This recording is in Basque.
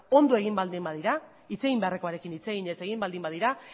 ongi egin badira hitz egin beharrekoarekin hitz eginez egin baldin badira